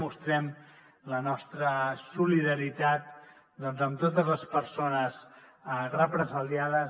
mostrem la nostra solidaritat amb totes les persones represaliades